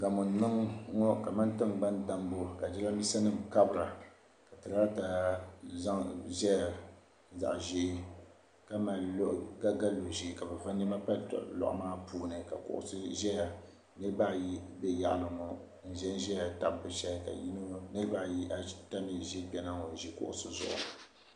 gamo n niŋ ŋɔ kamani tiŋgbani dambu ka jirambisanima kabira ka tiraata zaya zaɣ' ʒee ka ga lo' ʒee ka bɛ va nema pali lɔɣu maa puuni ka kuɣisi zaya nirba ayi za yaɣili ŋɔ n zaya tabi bɛ shehi ka nirba ata mi za kpe ha ŋɔ n ʒia kuɣisi zuɣu